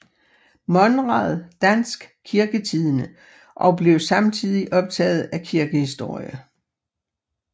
Monrad Dansk Kirketidende og blev samtidig optaget af kirkehistorie